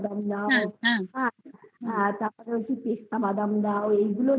কাজু বাদাম দাও তারপরে পিস্তা বাদাম দাও এগুলো